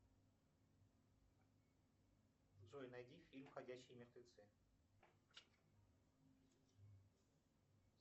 джой найди фильм ходячие мертвецы